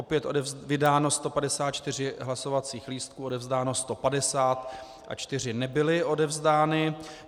Opět vydáno 154 hlasovacích lístků, odevzdáno 150 a čtyři nebyly odevzdány.